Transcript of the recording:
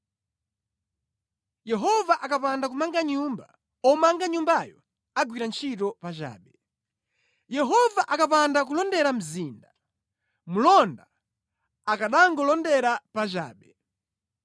Yehova akapanda kumanga nyumba, omanga nyumbayo agwira ntchito pachabe. Yehova akapanda kulondera mzinda, mlonda akanangolondera pachabe.